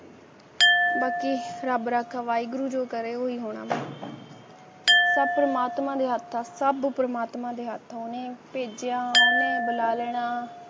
ਬਾਕੀ ਰੱਬ ਰਾਖਾ ਵਾਹਿਗੁਰੂ ਜੋ ਕਰੇ ਹੋਈ ਮੌਤ ਸੱਪ ਪਰਮਾਤਮਾ ਨੇ ਆਪ ਤਾਂ ਸਾਨੂੰ ਪਰਮਾਤਮਾ ਨੇ ਆਪਣੇ ਬੇਟਿਆਂ ਨੇ ਬੁਲਾ ਲੈਣਾ